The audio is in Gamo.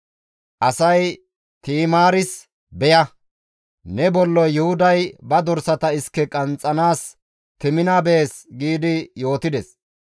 Asay Ti7imaaris, «Beya; ne bolloy Yuhuday ba dorsata iske qanxxanaas Temina bees» gi yootides.